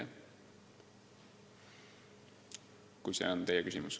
See vist oli teie küsimus.